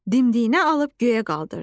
Dimdiyinə alıb göyə qaldırdı.